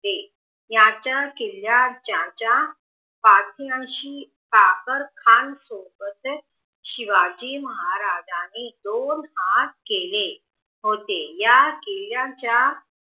होते यांच्या किल्ल्यात ज्यांचा पाठीची कादरखान सोबतच शिवाजी महाराजांनी दोन हात केले होते या किल्ल्याच्या